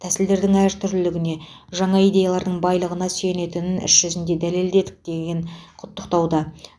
тәсілдердің әртүрлілігіне жаңа идеялардың байлығына сүйенетінін іс жүзінде дәлелдедік делінген құттықтауда